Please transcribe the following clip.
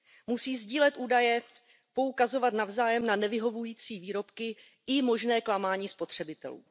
Musí sdílet údaje, poukazovat navzájem na nevyhovující výrobky i možné klamání spotřebitelů.